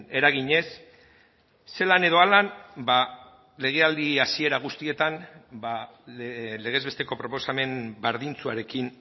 eraginez zelan edo halan legealdi hasiera guztietan legez besteko proposamen berdintsuarekin